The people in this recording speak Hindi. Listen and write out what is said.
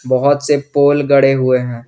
बहुत से पोल गढ़े हुए हैं।